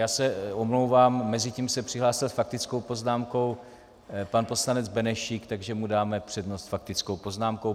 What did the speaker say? Já se omlouvám, mezitím se přihlásil s faktickou poznámkou pan poslanec Benešík, takže mu dáme přednost s faktickou poznámkou.